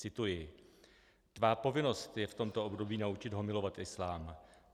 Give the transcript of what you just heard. Cituji: "Tvá povinnost je v tomto období naučit ho milovat islám.